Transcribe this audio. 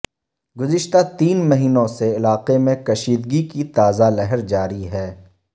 گذشتہ تین مہینوں سے علاقے میں کشیدگی کی تازہ لہر جاری ہے